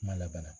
Kuma laban